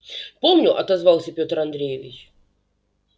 помню отозвался петр андреевич